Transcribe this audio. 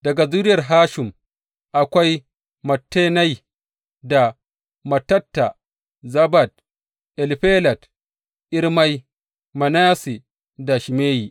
Daga zuriyar Hashum, akwai Mattenai, da Mattatta, Zabad, Elifelet, Irmai, Manasse, da Shimeyi.